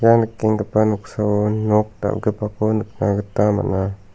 ia nikenggipa noksao nok dal·gipako nikna gita man·a.